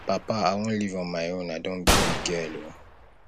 papa i wan live on my own i don be big girl oo